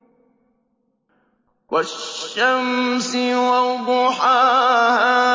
وَالشَّمْسِ وَضُحَاهَا